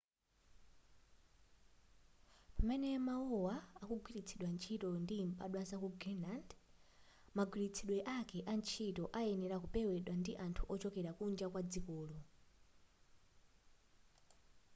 pamene mukumva mawuwa akugwiritsidwa ntchito ndi mbadwa zaku greenland magwiritsidwe ake a ntchito ayenera kupewedwa ndi anthu ochokera kunja kwadzikolo